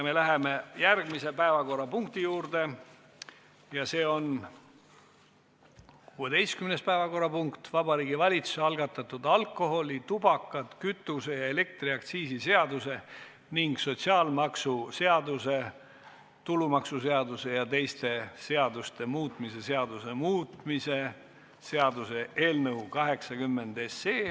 Me läheme järgmise päevakorrapunkti juurde ja see on 16. päevakorrapunkt: Vabariigi Valitsuse algatatud alkoholi-, tubaka-, kütuse- ja elektriaktsiisi seaduse ning sotsiaalmaksuseaduse, tulumaksuseaduse ja teiste seaduste muutmise seaduse muutmise seaduse eelnõu 80.